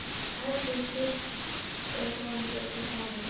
Höggið hristir vonandi upp í honum.